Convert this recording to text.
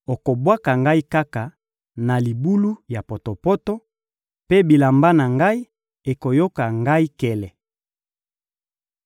okobwaka ngai kaka na libulu ya potopoto, mpe bilamba na ngai ekoyoka ngai nkele.